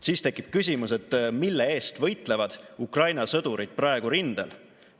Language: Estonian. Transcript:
Siis tekib küsimus, mille eest võitlevad Ukraina sõdurid praegu rindel.